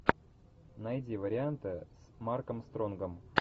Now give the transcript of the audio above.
найди варианты с марком стронгом